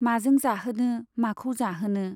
माजों जाहोनो , माखौ जाहोनो !